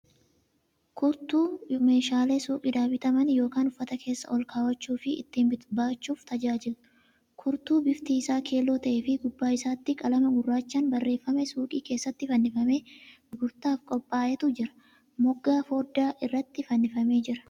Kurtuu meeshaalee suuqiidhaa bitaman yookan uffata keessa ol kaawwachuu fi ittiin baachuuf tajaajilu. Kurtuu bifti isaa keelloo ta'ee fi gubbaa isaatti qalama gurraachan barreeffame suuqii keessatti fannifamee gurgurtaan qophaa'etu jira. Moggaa fooddaa irratti fannifamee jira.